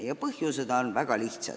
Ja põhjus on väga lihtne.